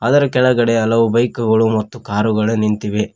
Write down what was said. ಅದರ ಕೆಳಗಡೆ ಹಲವು ಬೈಕು ಗಳು ಮತ್ತು ಕಾರು ಗಳು ನಿಂತಿವೆ.